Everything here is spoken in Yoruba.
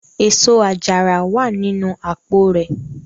Eso-ajara wa ninu apo rẹ